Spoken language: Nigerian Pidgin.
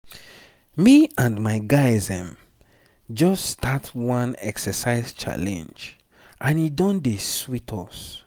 me and my guys ehm just start one exercise challenge and e don dey sweet us.